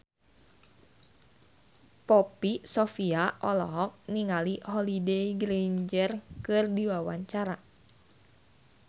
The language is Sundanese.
Poppy Sovia olohok ningali Holliday Grainger keur diwawancara